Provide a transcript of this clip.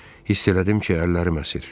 Hiss elədim ki, əllərim əsir.